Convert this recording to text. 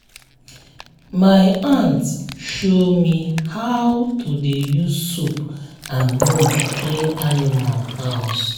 my aunt show me how to dey use soap and broom clean animal house.